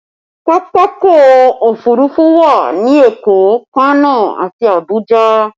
Pápákọ̀ òfurufú wà ní Èkó, Kano àti Abuja